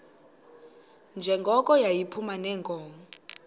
njengoko yayiphuma neenkomo